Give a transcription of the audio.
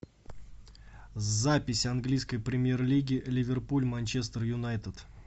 запись английской премьер лиги ливерпуль манчестер юнайтед